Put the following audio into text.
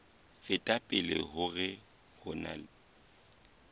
feta pele hore ho na